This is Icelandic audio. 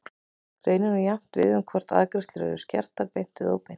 Greinin á jafnt við hvort sem arðgreiðslur eru skertar beint eða óbeint.